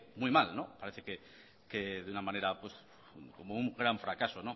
muy mal parece que de una manera como un gran fracaso